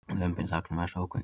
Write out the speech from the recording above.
Lömbin þagna mest ógnvekjandi